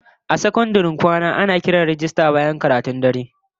A sakandaren kwana bayan karatun dare, ana kiran rajistan dalibai sannan a tabbatar kowa ya kwanta barci